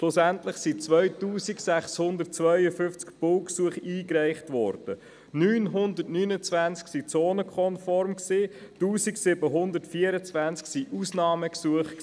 Schlussendlich wurden 2652 Baugesuche eingereicht, 929 waren zonenkonform, bei 1724 handelte es sich um Ausnahmegesuche.